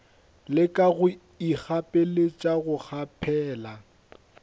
leka go ikgapeletša go kgaphela